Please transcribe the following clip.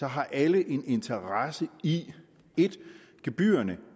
har alle en interesse i at gebyrerne